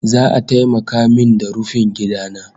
Za'a taimaka min da rufin gida na